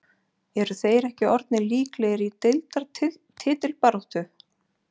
Eru þeir ekki orðnir líklegir í deildar titilbaráttu??